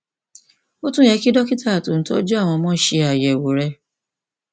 ó tún yẹ kí dókítà tó ń tọjú àwọn ọmọ ṣe àyẹwò rẹ